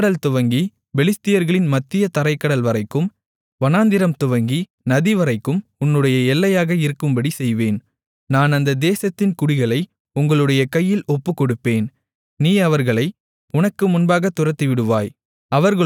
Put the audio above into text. செங்கடல் துவங்கி பெலிஸ்தர்களின் மத்திய தரைக்கடல்வரைக்கும் வனாந்திரம் துவங்கி நதிவரைக்கும் உன்னுடைய எல்லையாக இருக்கும்படிச் செய்வேன் நான் அந்த தேசத்தின் குடிகளை உங்களுடைய கையில் ஒப்புக்கொடுப்பேன் நீ அவர்களை உனக்கு முன்பாக துரத்திவிடுவாய்